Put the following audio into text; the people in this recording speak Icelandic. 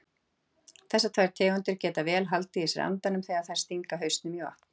Þessar tvær tegundir geta vel haldið í sér andanum þegar þær stinga hausnum í vatn.